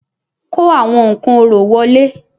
Kó àwọn nǹkan orò wọlé